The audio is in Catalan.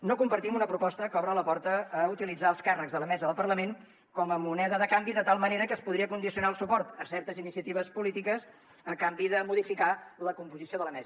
no compartim una proposta que obre la porta a utilitzar els càrrecs de la mesa del parlament com a moneda de canvi de tal manera que es podria condicionar el suport a certes iniciatives polítiques a canvi de modificar la composició de la mesa